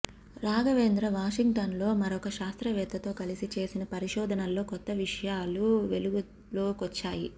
రాఘవేంద్ర వాషింగ్టన్లో మరొక శాస్త్రవేత్తతో కలిసి చేసిన పరిశోధనల్లో కొత్త విషయాలు వెలుగులోకొచ్చాయి